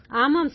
ஆமாம் சார்